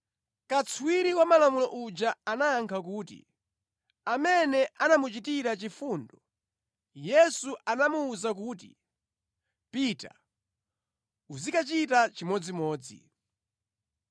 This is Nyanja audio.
Katswiri wa Malamulo uja anayankha kuti, “Amene anamuchitira chifundo.” Yesu anamuwuza kuti, “Pita, uzikachita chimodzimodzi.”